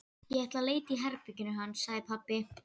Ég ætla að leita í herberginu hans, sagði pabbi.